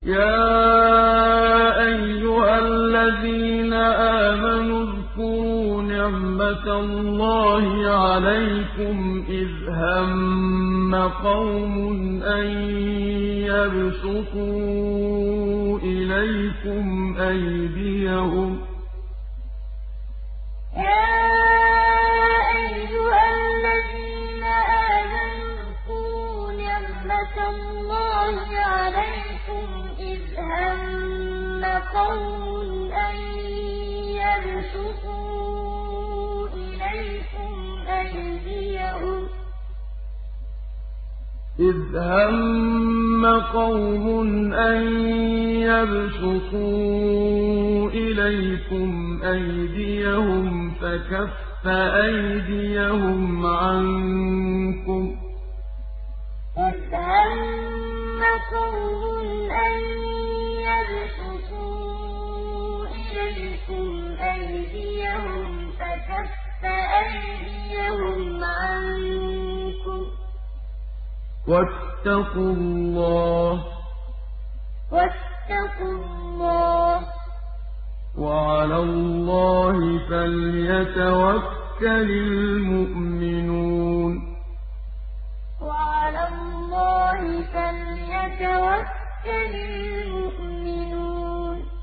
يَا أَيُّهَا الَّذِينَ آمَنُوا اذْكُرُوا نِعْمَتَ اللَّهِ عَلَيْكُمْ إِذْ هَمَّ قَوْمٌ أَن يَبْسُطُوا إِلَيْكُمْ أَيْدِيَهُمْ فَكَفَّ أَيْدِيَهُمْ عَنكُمْ ۖ وَاتَّقُوا اللَّهَ ۚ وَعَلَى اللَّهِ فَلْيَتَوَكَّلِ الْمُؤْمِنُونَ يَا أَيُّهَا الَّذِينَ آمَنُوا اذْكُرُوا نِعْمَتَ اللَّهِ عَلَيْكُمْ إِذْ هَمَّ قَوْمٌ أَن يَبْسُطُوا إِلَيْكُمْ أَيْدِيَهُمْ فَكَفَّ أَيْدِيَهُمْ عَنكُمْ ۖ وَاتَّقُوا اللَّهَ ۚ وَعَلَى اللَّهِ فَلْيَتَوَكَّلِ الْمُؤْمِنُونَ